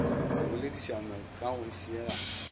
go boledišanwa ka go šielana